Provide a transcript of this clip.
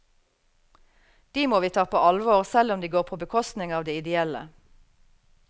De må vi ta på alvor selv om de går på bekostning av det ideelle.